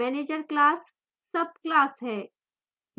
manager class subclass है